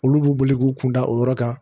Olu b'u boli k'u kun da o yɔrɔ kan